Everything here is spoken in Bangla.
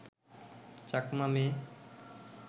চাকমা মেয়ে